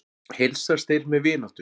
Heilsast þeir með vináttu.